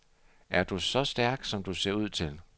Er du så stærk, som du ser ud til?